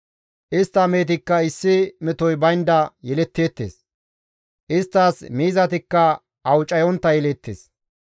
Istta mehetikka issi metoy baynda yeletteettes; isttas miizatikka awucayontta yeleettes.